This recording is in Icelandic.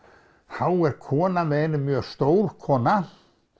þá er kona með henni mjög stór kona